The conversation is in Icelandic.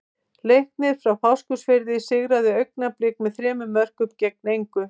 Leiknir frá Fáskrúðsfirði sigraði Augnablik með þremur mörkum gegn engu.